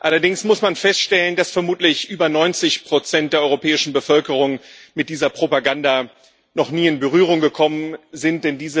Allerdings muss man feststellen, dass vermutlich über 90 der europäischen Bevölkerung mit dieser Propaganda noch nie in Berührung gekommen sind.